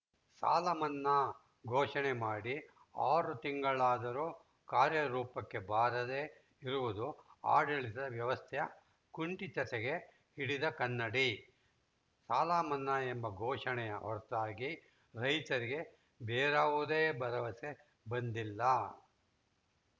ಸಾಲಮನ್ನಾ ಘೋಷಣೆ ಮಾಡಿ ಆರು ತಿಂಗಳಾದರೂ ಕಾರ್ಯರೂಪಕ್ಕೆ ಬಾರದೇ ಇರುವುದು ಆಡಳಿತದ ವ್ಯವಸ್ಥೆಯ ಕುಂಠಿತತೆಗೆ ಹಿಡಿದ ಕನ್ನಡಿ ಸಾಲಮನ್ನಾ ಎಂಬ ಘೋಷಣೆಯ ಹೊರತಾಗಿ ರೈತರಿಗೆ ಬೇರಾವುದೇ ಭರವಸೆ ಬಂದಿಲ್ಲ